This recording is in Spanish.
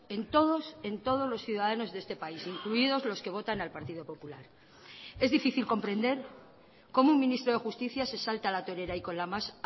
en todos en todos los ciudadanos de este país incluidos los que votan al partido popular es difícil comprender cómo un ministro de justicia se salta a la torera y con la más